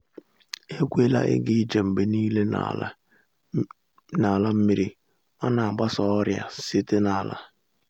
ekwela ịga ije mgbe niile n’ala um nmiri ọ na-agbasa ọrịa si na’ala.